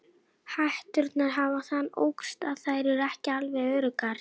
Hetturnar hafa þann ókost að þær eru ekki alveg öruggar.